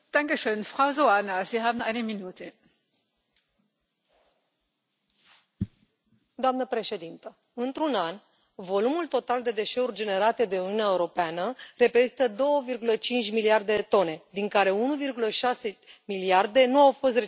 Doamnă președintă, într un an, volumul total de deșeuri generate de Uniunea Europeană reprezintă 2,5 miliarde de tone, din care 1,6 miliarde nu au fost reciclate sau reutilizate, ceea ce reprezintă o pierdere uriașă pentru economia europeană.